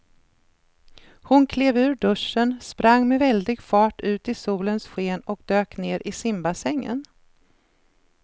Hon klev ur duschen, sprang med väldig fart ut i solens sken och dök ner i simbassängen.